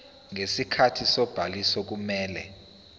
ngesikhathi sobhaliso kumele